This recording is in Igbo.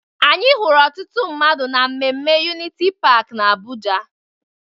Anyị hụrụ ọtụtụ mmadụ na mmemme Uniti Paakị n'Abụja.